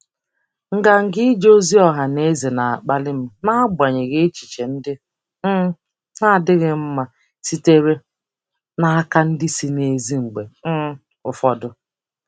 Nganga ije ozi ọha na eze na-akpali m n'agbanyeghị echiche ndị um na-adịghị mma sitere n'aka ndị si n'èzí mgbe um ụfọdụ.